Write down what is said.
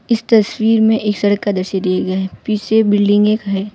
इस तस्वीर में एक सड़क का दृश्य दिए गया है पीछे बिल्डिंगे है।